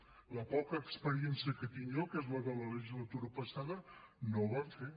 per la poca experiència que tinc jo que és la de la legislatura passada no ho van fer